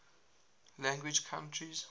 language countries